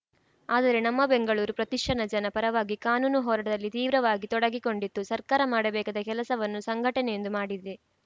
ಆದರೆ ನಮ್ಮ ಬೆಂಗಳೂರು ಪ್ರತಿಷ್ಠಾನ ಜನ ಪರವಾಗಿ ಕಾನೂನು ಹೋರಾಟದಲ್ಲಿ ತೀವ್ರವಾಗಿ ತೊಡಗಿಕೊಂಡಿತು ಸರ್ಕಾರ ಮಾಡಬೇಕಾದ ಕೆಲಸವನ್ನು ಸಂಘಟನೆಯೊಂದು ಮಾಡಿದೆ